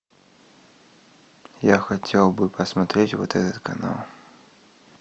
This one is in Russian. я хотел бы посмотреть вот этот канал